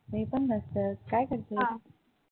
मी पण मस्त. काय करतेय?